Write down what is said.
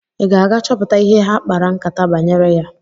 Ị ga-aga chọpụta ihe ha kpara nkátá banyere ya?